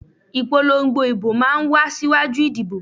Ìpolongo ìbò máa ń wá síwájú ìdìbò